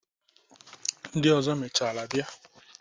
Ndị ọzọ mechaara bịa.